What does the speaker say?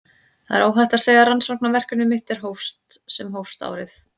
Það er óhætt að segja að rannsóknarverkefni mitt sem hófst árið